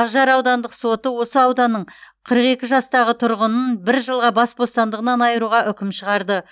ақжар аудандық соты осы ауданның қырық екі жастағы тұрғынын бір жылға бас бостандығынан айыруға үкім шығарды